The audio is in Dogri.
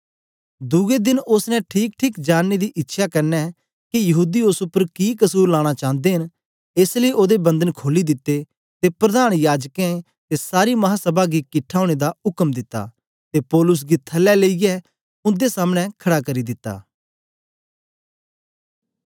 दुए देन ओसने ठीकठीक जानने दी इच्छया कन्ने के यहूदी ओस उपर कि कसुर लाना चांदे न एस लेई ओदे बंधन खोली दिते ते प्रधान याजकें ते सारी महासभा गी किट्ठा ओनें दा उक्म दित्ता ते पौलुस गी थलै लेईयै उन्दे सामने खड़ा करी दिता